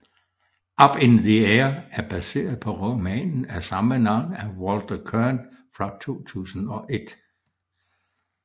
Up in the Air er baseret på romanen af samme navn af Walter Kirn fra 2001